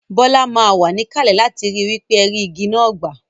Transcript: Bola má wa níkàlè láti ri wípé ẹ rí igi náà gbà